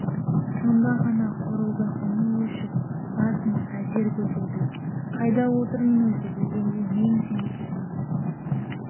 сонда ғана қорылдың үні өшіп басын әзер көтерді қайда отырмын өзі дегендей мең-зең күй айналасына